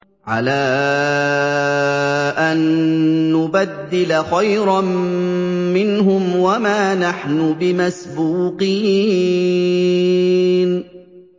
عَلَىٰ أَن نُّبَدِّلَ خَيْرًا مِّنْهُمْ وَمَا نَحْنُ بِمَسْبُوقِينَ